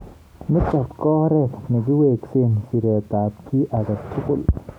Nitok ko oret nekiweksei siret ab ki agetugul.